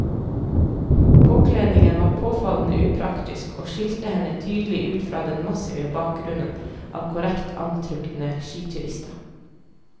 Påkledningen var påfallende upraktisk og skilte henne tydelig ut fra den massive bakgrunnen av korrekt antrukne skiturister.